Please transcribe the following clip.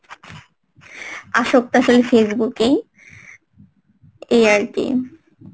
আসক্তাশালী Facebook এ এই আরকি